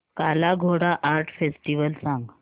काला Ghoda art festival सांग